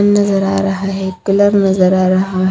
नजर आ रहा है एक कलर नजर आ रहा--